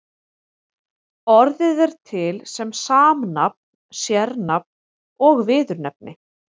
Orðið er til sem samnafn, sérnafn og viðurnefni.